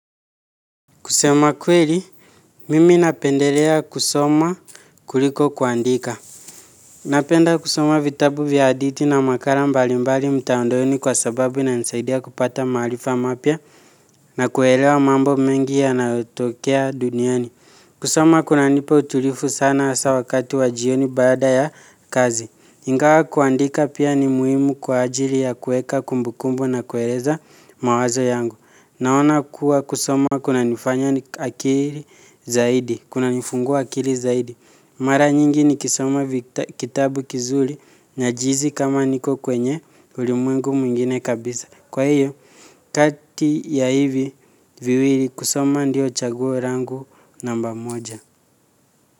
Kusema kweli, mimi napendelea kusoma kuliko kuandika. Napenda kusoma vitabu vya hadithi na makala mbalimbali mtandaoni kwa sababu inanisaidia kupata maarifa mapya na kuelewa mambo mengi yanayotokea duniani. Kusoma kunanipa utulivu sana hasa wakati wa jioni baada ya kazi. Ingawa kuandika pia ni muhimu kwa ajili ya kuweka kumbukumbu na kueleza mawazo yangu. Naona kuwa kusoma kunanifanya akili zaidi, kunanifungua akili zaidi. Mara nyingi nikisoma kitabu kizuri najihisi kama niko kwenye ulimwengu mwingine kabisa. Kwa hiyo, kati ya hivi viwili kusoma ndiyo chaguo langu namba moja.